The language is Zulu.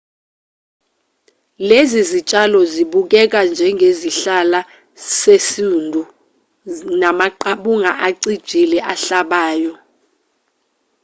lezi zitshalo sibukeka njengesihlala sesundu namaqabunga acijile ahlabayo